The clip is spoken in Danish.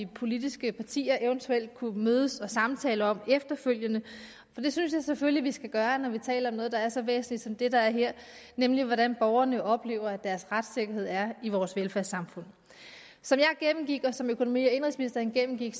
politiske partier eventuelt kunne mødes og samtale om efterfølgende for det synes jeg selvfølgelig vi skal gøre når vi taler om noget der er så væsentligt som det der er her nemlig hvordan borgerne oplever at deres retssikkerhed er i vores velfærdssamfund som jeg gennemgik og som økonomi og indenrigsministeren gennemgik